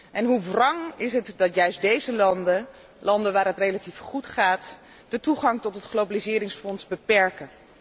En hoe wrang is het dat juist deze landen, landen waar het relatief goed gaat, de toegang tot het globaliseringsfonds beperken.